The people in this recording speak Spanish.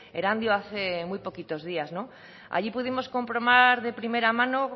erandio hace muy poquitos días allí pudimos comprobar de primera mano